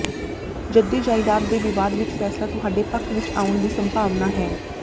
ਜੱਦੀ ਜਾਇਦਾਦ ਦੇ ਵਿਵਾਦ ਵਿੱਚ ਫ਼ੈਸਲਾ ਤੁਹਾਡੇ ਪੱਖ ਵਿੱਚ ਆਉਣ ਦੀ ਸੰਭਾਵਨਾ ਹੈ